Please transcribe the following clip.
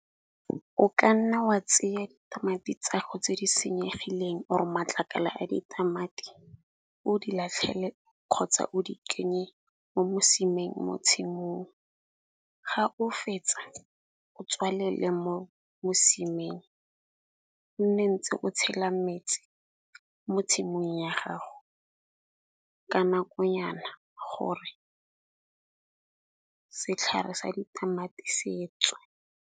O ka nna wa tseya ditamati tsa go tse di senyegileng or matlakala a ditamati, o di latlhele kgotsa o di kenye mo mosimeng mo tshimong. Ga o fetsa o tswalele mo mosimeng o nne ntse o tshela metsi mo tshimong ya gago ka nako nyana gore setlhare sa ditamati se tswe.